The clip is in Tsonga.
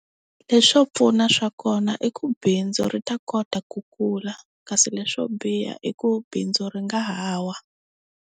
Leswo pfuna swa kona i ku bindzu ri ta kota ku kula. Kasi leswo biha i ku bindzu ri nga ha wa.